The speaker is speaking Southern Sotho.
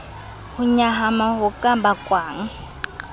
ho nyahama ho ka bakwang